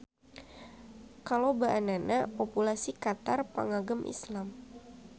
Kalobaannana populasi Qatar pangagem Islam.